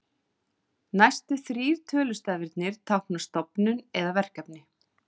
Næstu þrír tölustafirnir tákna stofnun eða verkefni.